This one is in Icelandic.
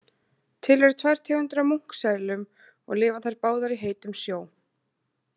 Til eru tvær tegundir af munkselum og lifa þær báðar í heitum sjó.